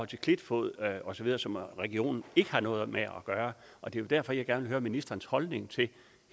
til klitfod osv som regionen ikke har noget med at gøre og det er jo derfor jeg gerne vil høre ministerens holdning til